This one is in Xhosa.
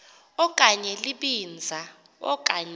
okanye libinza okanye